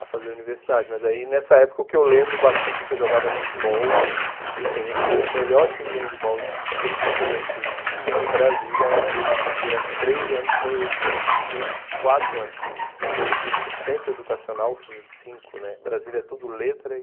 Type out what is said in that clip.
a fazer universidade, mas aí nessa época o que eu lembro bastante é que eu jogava handebol e assim, a gente tinha o melhor time de handebol estudantil de de Brasília era durante três anos foi esse durante quatro anos foi o time do centro educacional, esses cinco né, Brasília é tudo letra aí